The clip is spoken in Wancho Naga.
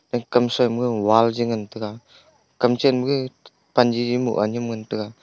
kamsui ma wall ji ngantaga kam chenma gag pan jiji mohga nyem ngantaga.